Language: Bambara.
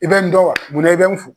I bɛ n dɔn wa mun na i bɛ n fo.